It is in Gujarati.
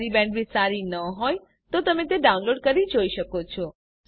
જો તમારી બેન્ડવિડ્થ સારી નહિં હોય તો તમે ડાઉનલોડ કરી તે જોઈ શકો છો